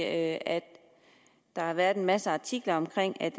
at der har været en masse artikler om